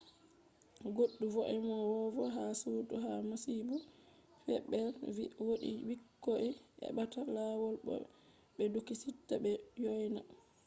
goddu vo’enowo ha sudu ha masibo feb’i vi: wodi bikkoi ebbata lawol bo be du sika be du yoyna